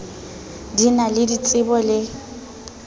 di na le ditsebo le